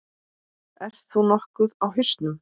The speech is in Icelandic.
Ert þú nokkuð á hausnum?